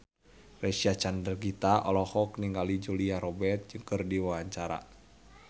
Reysa Chandragitta olohok ningali Julia Robert keur diwawancara